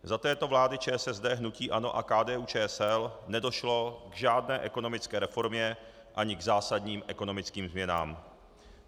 Za této vlády ČSSD, hnutí ANO a KDU-ČSL nedošlo k žádné ekonomické reformě ani k zásadním ekonomickým změnám.